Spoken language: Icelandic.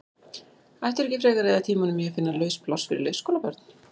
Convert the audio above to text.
Ættirðu ekki frekar að eyða tímanum í að finna laus pláss fyrir leikskólabörn?